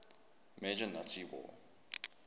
major nazi war